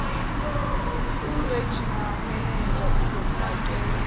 uregional manager uzofakela